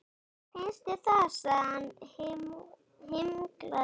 Finnst þér það? sagði hann himinglaður.